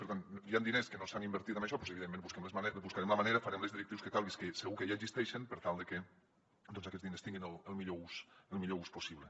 per tant hi han diners que no s’han invertit en això doncs evidentment buscarem la manera farem les directrius que calgui que segur que ja existeixen per tal de que aquests diners tinguin el millor ús possible